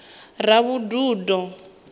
ravhududo